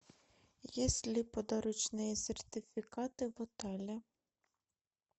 есть ли подарочные сертификаты в отеле